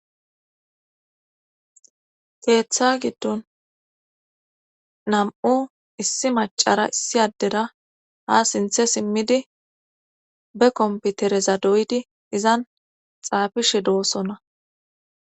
keeththa giddon nam7u issi macara issi addera ha sinthe simmidi be kompitereza doydi izan xaafishe doossonna